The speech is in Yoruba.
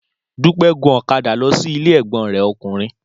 Dúpẹ́ gun ọ̀kadà lọ sí ilé ẹ̀gbọ́n rẹ̀ ọkùnrin